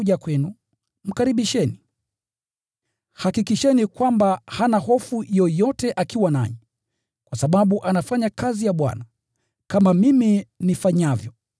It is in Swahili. Ikiwa Timotheo atakuja kwenu, hakikisheni kwamba hana hofu yoyote akiwa nanyi, kwa sababu anafanya kazi ya Bwana, kama mimi nifanyavyo.